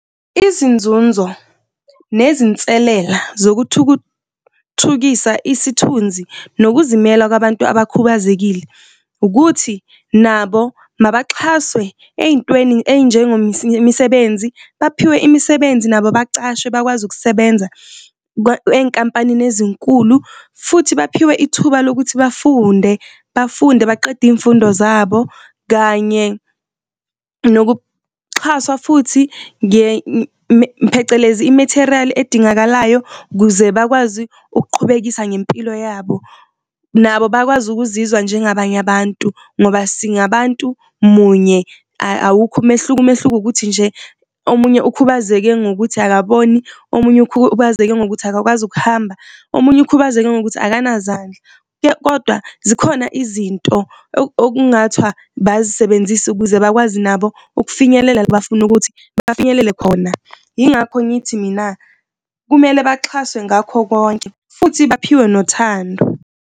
Izinzunzo nezinselela zokuthuthukisa isithunzi nokuzimela kwabantu abakubazekile ukuthi nabo mabaxhaswe ey'ntweni . Baphiwe imisebenzi nabo bacashwe bakwazi ukusebenza enkampanini ezinkulu futhi baphiwe ithuba lokuthi bafunde, bafunde baqede izifundo zabo kanye nokuxhaswa futhi phecelezi, i-material edingakalayo ukuze bakwazi ukuqhubekisa ngempilo yabo. Nabo bakwazi ukuzizwa nje ngabanye abantu ngoba singabantu munye awukho umehluko. Umehluko ukuthi nje omunye ukhubazeke ngokuthi akaboni, omunye ukhubazeke ngokuthi akakwazi ukuhamba, omunye ukhubazeke ngokuthi akanazandla kodwa zikhona izinto okungathwa bazisebenzise ukuze bakwazi nabo ukufinyelela la bafuna ukuthi abafinyelele khona. Yingakho ngithi mina kumele baxhaswe ngakho konke futhi baphiwe nothando.